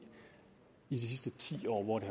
i de sidste ti år hvor de